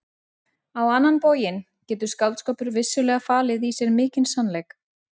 Á annan bóginn getur skáldskapur vissulega falið í sér mikinn sannleik.